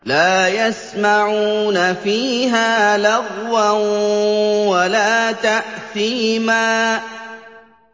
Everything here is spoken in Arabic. لَا يَسْمَعُونَ فِيهَا لَغْوًا وَلَا تَأْثِيمًا